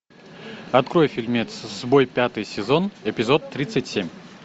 открой фильмец сбой пятый сезон эпизод тридцать семь